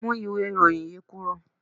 Mú ìwé ìròyìn yí kúrò.